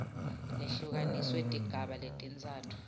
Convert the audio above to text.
lehlukaniswe tigaba letintsatfu